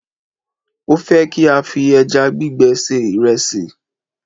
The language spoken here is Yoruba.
a fe ki a fi eja gbigbe se iresi